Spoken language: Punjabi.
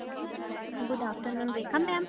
good afternoon Rekha maam